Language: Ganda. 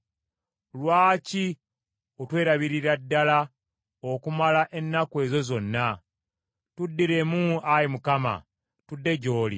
Lwaki otwelabiririra ddala okumala ennaku ezo zonna? Tuddiremu, Ayi Mukama , tudde gy’oli.